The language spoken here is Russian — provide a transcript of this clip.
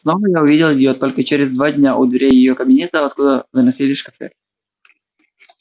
снова я увидел её только через два дня у дверей её кабинета откуда выносили шкафы